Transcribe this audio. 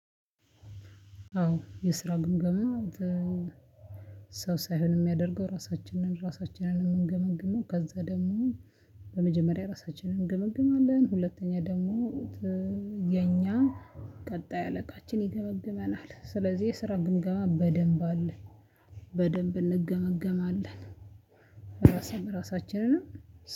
አዎ የስራ ግምገማ ሰው ሳይሆን የሚያደርገው ራሳችንን ራሳችንን እንገመግመው። ከዛ ደግሞ በመጀመሪያ ራሳችንን እንገመግማለን። ሁለተኛ ደግሞ የኛ ቀጣይ አለቃችን ይገመግመናል። ስለዚህ የስራ ግምገማ በደንብ አለ። በደንብ እንገመገማለን። ራስን ራሳችንን